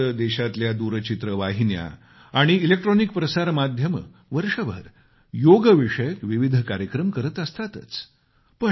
तसे तर देशातल्या दूरचित्रवाहिन्या आणि इलेक्ट्रॉनिक प्रसारमाध्यमं वर्षभर योगविषयक विविध कार्यक्रम करत असतातच